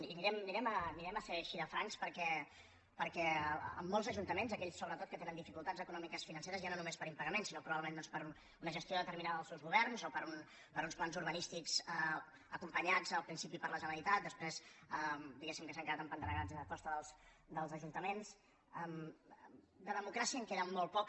i serem així de francs per·què en molts ajuntaments aquells sobretot que tenen dificultats econòmiques i financeres ja no només per impagaments sinó probablement doncs per una gestió determinada dels seus governs o per uns plans urba·nístics acompanyats al principi per la generalitat des·prés diguem que s’han quedat empantanegats a costa dels ajuntaments de democràcia en queda molt poca